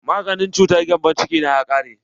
Maganin cutar gembon ciki na ya ƙare.